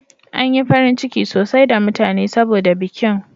An yi farin ciki sosai da mutane saboda bikin.